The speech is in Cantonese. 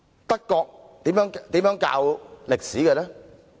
德國如何教授歷史呢？